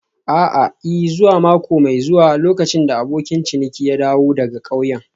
A'a, I. zuwa mako mai zuwa lokacin da abokin ciniki ya dawo daga ƙauyen.